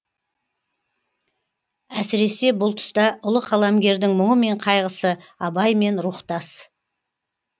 әсіресе бұл тұста ұлы қаламгердің мұңы мен қайғысы абаймен рухтас